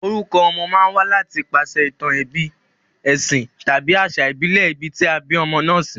Orukọ ọmọ ma n wá láti ipasè ìtàn ebí, èsìn tàbí àsà ìbílè ibi tí a bí ọmọ náà sí